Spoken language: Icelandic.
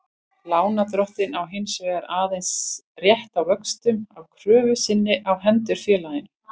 Lánardrottinn á hins vegar aðeins rétt á vöxtum af kröfu sinni á hendur félaginu.